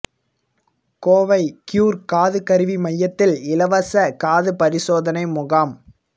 Kovai cure காது கருவி மையத்தில் இலவச காது பரிசோதனை முகாம்